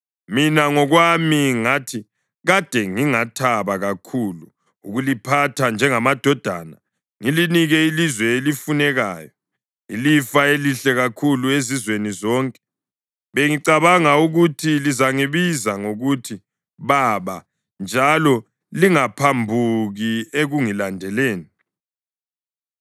Mina ngokwami ngathi, ‘Kade ngingathaba kakhulu ukuliphatha njengamadodana, ngilinike ilizwe elifunekayo, ilifa elihle kakhulu ezizweni zonke.’ Bengicabanga ukuthi lizangibiza ngokuthi ‘Baba’ njalo lingaphambuki ekungilandeleni.